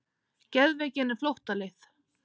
Geðveikin er flóttaleið.